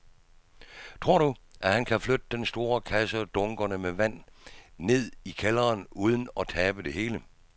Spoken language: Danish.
Tror du, at han kan flytte den store kasse og dunkene med vand ned i kælderen uden at tabe det hele?